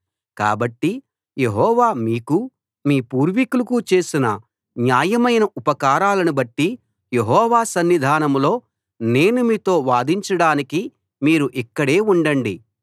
కాబట్టి యెహోవా మీకు మీ పూర్వీకులకు చేసిన న్యాయమైన ఉపకారాలను బట్టి యెహోవా సన్నిధానంలో నేను మీతో వాదించడానికి మీరు ఇక్కడే ఉండండి